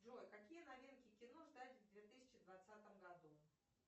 джой какие новинки кино ждать в две тысячи двадцатом году